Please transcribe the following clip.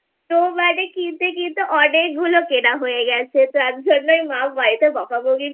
তো মানে কিনতে কিনতে অনেকগুলো কেনা হয়ে গেছে তার জন্যই মা বাড়িতে বকাবকি করছে